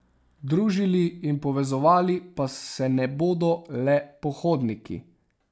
Družili in povezovali pa se ne bodo le pohodniki.